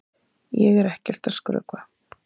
Ég er ekkert að skrökva!